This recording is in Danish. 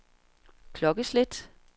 klokkeslæt